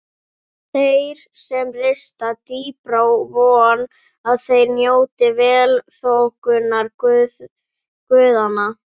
Þeir sem rista dýpra vona að þeir njóti velþóknunar guðanna.